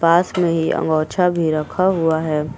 पास मे ही अंगौछा भी रखा हुआ है।